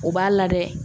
O b'a la dɛ